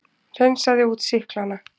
Hreinsaði út sýklana.